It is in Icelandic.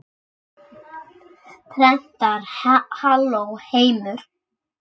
Prentar Halló, heimur!